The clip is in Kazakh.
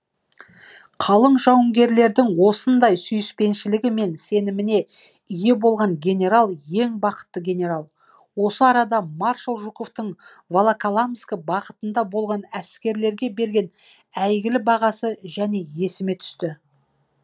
қалың жауынгерлердің осындай сүйіспеншілігі мен сеніміне ие болған генерал ең бақытты генерал осы арада маршал жуковтың волоколамск бағытында болған әскерлерге берген әйгілі бағасы және есіме түсті